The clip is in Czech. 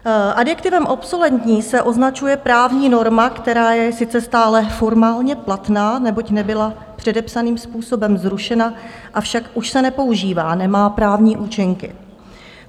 Adjektivem obsoletní se označuje právní norma, která je sice stále formálně platná, neboť nebyla předepsaným způsobem zrušena, avšak už se nepoužívá, nemá právní účinky.